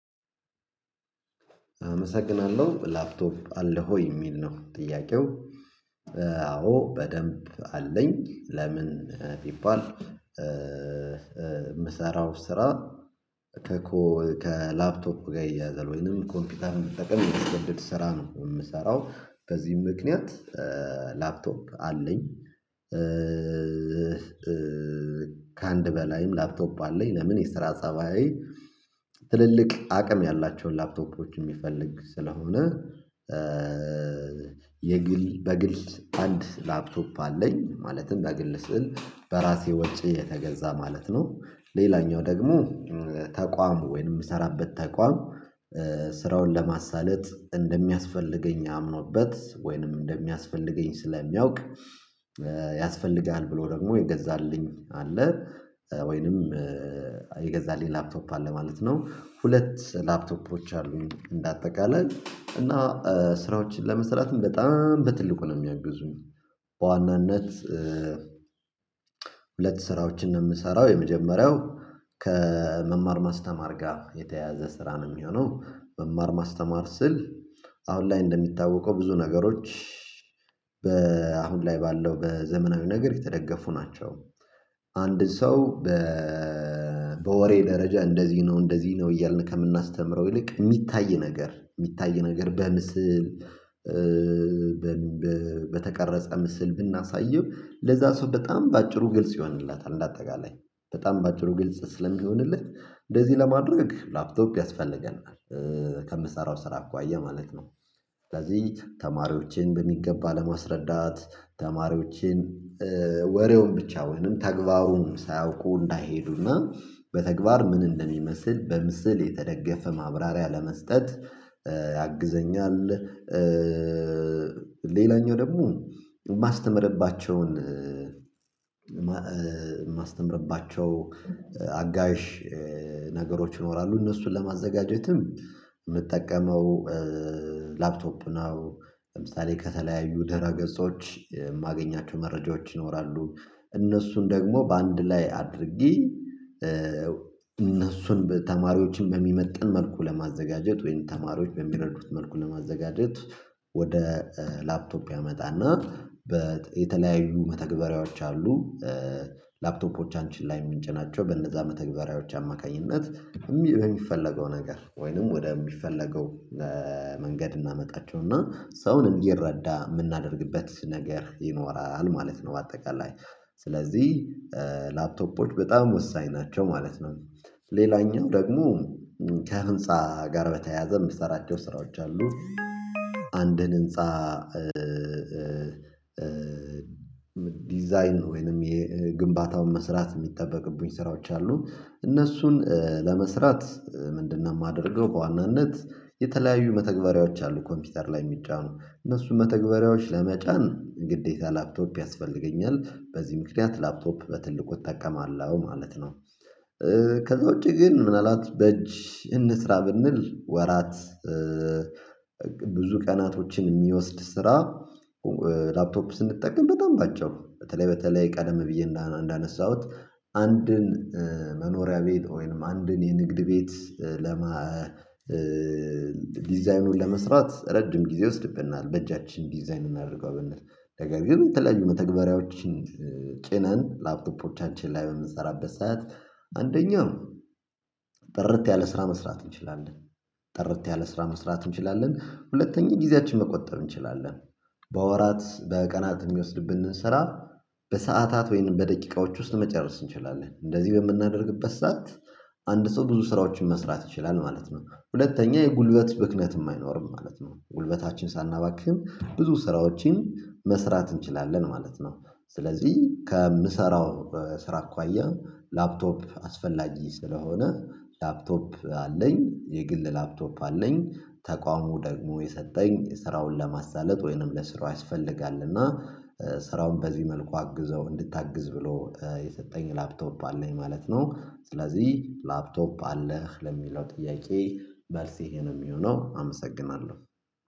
አመሰግናለሁ። ላፕቶፕ አለ ወ? የሚል ነው ጥያቄው አዎ በደንብ አለኝ። ለምን ቢባል የምሰራው ስራ ከኮ ከላፕቶፕ ጋር ይያያዘል ወይንም ኮምፒውተር መጠቀም ስራ ነው የምሰራው በዚህም ምክንያት ላፕቶፕ አለኝ። ከአንድ በላይም ላፕቶፕ አለኝ። ለምን የስራ ሰብዬ ትልልቅ አቅም ያላቸውን ላፕቶፖች የሚፈልግ ስለሆነ የግል በግል አንድ ላፕቶፕ አለኝ። ማለትም በግል ስዕል በራሴ ወጪ የተገዛ ማለት ነ። ሌላኛው ደግሞ ተቋም ወይንም የምሰራበት ተቋም ስራውን ለማሳለጥ እንደሚያስፈልገኝ አምኖበት ወይንም እንደሚያስፈልገኝ ስለሚያውቅ ያስፈልጋል ብሎ ደግሞ የገዛልኝ አለ። ወይንም የገዛልኝ ላፕቶፕ አለ ማለት ነው። ሁለት ላፕቶፖች እንደ አጠቃላይ እና ስራዎችን ለመስራትም በጣም በትልቁ ነው የሚያግዙኝ በዋናነት ሁለት ስራዎችን ነው የምሰራው። የመጀመሪያው ከመማር ማስተማር ጋር የተያያዘ ስራ ነው የሚሆነው። መማር ማስተማር ስል አሁን ላይ እንደሚታወቀው ብዙ ነገሮች በአሁን ላይ ባለው በዘመናዊ ነገር የተደገፉ ናቸው። አንድ ሰው በወሬ ደረጃ እንደዚህ ነው፣ እንደዚህ ነው፣ እያልን ከምናስተምረው ይልቅ የሚታይ ነገር የሚታይ ነገር በምስል በተቀረጸ ምስል ብናሳየው ለዛ ሰው በጣም በአጭሩ ግልጽ ይሆንላታል። እንዳጠቃላይ በጣም በአጭሩ ግልጽ ስለሚሆንለት እንደዚህ ለማድረግ ላፕቶፕ ያስፈልገናል። ከምሰራው ስራ እኳያ ማለት ነው ስለዚህ ተማሪዎችን በሚገባ ለማስረዳት ተማሪዎችን ወሬውን ብቻ ወይንም ተግባቡን ሳያውቁ እንዳይሄዱና በተግባር ምን እንደሚመስል በምስል የተደገፈ ማብራሪያ ለመስጠት ያግዘኛል። ሌላኛው ደግሞ የማስተምርባቸውን የማስተምርባቸው አጋዥ ነገሮች ይኖራሉ። እነሱን ለማዘጋጀትም የምጠቀመው ላፕቶፕ ነው። ለምሳሌ ከተለያዩ ደረገጾች የማገኛቸው መረጃዎች ይኖራሉ። እነሱን ደግሞ በአንድ ላይ አድርጌ እነሱን ተማሪዎችን በሚመጥን መልኩ ለማዘጋጀት ወይም ተማሪዎች በሚረዱት መልኩን ለማዘጋጀት ወደ ላፕቶፕ ያመጣና በተለያዩ የተለያዩ መተግበሪያዎች አሉ። ላፕቶፖቻችን ላይ ምንጭናቸ። በእነዛ መተግበሪያዎች አማካኝነት በሚፈለገው ነገር ወይንም ወደሚፈለገው ለመንገድ እናመጣቸውና ሰውን እንዲረዳ የምናደርግበት ነገር ይኖራል። ማለት ነው በአጠቃላይ። ስለዚህ በጣም ወሳኝ ናቸው ማለት ነው። ሌላኛው ደግሞ ከህንፃ ጋር በተያያዘ የምትሰራቸው ስራዎች አሉ። አንድን ህንፃ ዲዛይን ዲዛይን ወይንም የግንባታውን መስራት የሚጠበቅብን ስራዎች አሉ። እነሱን ለመስራት ምንድነው? የማደርገው በዋናነት የተለያዩ መተግበሪያዎች አሉ ኮምፒውተር ላይ የሚጫኑ እነሱ መተግበሪያዎች ለመጫን ግዴታ ላፕቶፕ ያስፈልገኛል። በዚህ ምክንያት ላፕቶፕ በትልቁ እጠቀማለሁ ማለት ነው። ከዛ ውጪ ግን ምናልባት በእጅ እንስራ ብንል ወራት ብዙ ቀናቶችን የሚወስድ ስራ ላፕቶፕ ስንጠቀም በጣም ባጭሩ በተለይ በተለይ ቀደም ብዬ እንዳነሳሁት አንድን መኖሪያ ቤት ወይም አንድን የንግድ ቤት ለማ ዲዛይኑን ለመስራት ረጅም ጊዜ ይወስድብናል። በእጃችን ዲዛይን እናድርገው ብንል ነገር ግን የተለያዩ መተግበሪያዎችን ጭነን ላፕቶፖቻችን ላይ በምንሰራበት ሰዓት አንደኛው ጥርት ያለ ስራ መስራት እንችላለን። ጥርት ያለ ስራ መስራት እንችላለን። ሁለተኛ ጊዜያችን መቆጠብ እንችላለን። በወራት በቀናት የሚወስድብን ብንሰራ በሰአታት ወይንም በደቂቃዎች ውስጥ መጨረስ እንችላለን። እንደዚህ በምናደርግበት ሰዓት አንድ ሰው ብዙ ስራዎችን መስራት ይችላል። ማለት ነው ሁለተኛ የጉልበት ብክነት የማይኖርም ማለት ነው። ጉልበታችን ሳናባክህም ብዙ ስራዎችን መስራት እንችላለን። ማለት ነው ስለዚህ ከምሰራው ስራ አኳያ ላፕቶፕ አስፈላጊ ስለሆነ ላፕቶፕ አለኝ የግል ላፕቶፕ አለኝ ተቋሙ ደግሞ የሰጠኝ የስራውን ለማሳለጥ ወይንም ለስራው ያስፈልጋል። እና ስራውን በዚህ መልኩ አግዘው እንድታግዝ ብሎ የሰጠኝ ላፕቶፕ አለኝ። ማለት ነው። ስለዚህ ላፕቶፕ አለህ ለሚለው ጥያቄ መልሴ ይሄ ነው የሚሆነው አመሰግናለሁ።